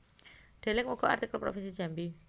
Deleng uga artikel Provinsi Jambi